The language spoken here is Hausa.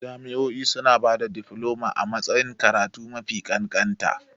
Jami'o'i suna ba da difloma a matsayin karatu mafi kanƙanta.